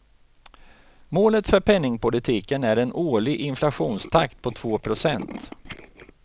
Målet för penningpolitiken är en årlig inflationstakt på två procent.